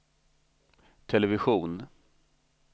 television